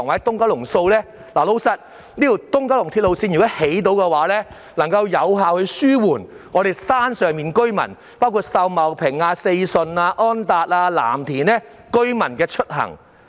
如能興建東九龍綫，能有效紓緩山上的居民，包括秀茂坪、四順、安達邨和藍田居民的出行。